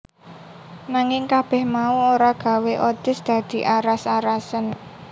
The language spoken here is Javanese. Nanging kabeh mau ora gawé Otis dadi aras arasen